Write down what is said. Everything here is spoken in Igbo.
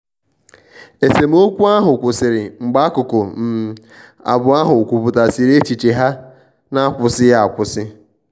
esemokwu ahụ kwụsiri mgbe akụkụ um abụọ ahụ kwuputasiri echiche ha n'akwusighi akwụsi.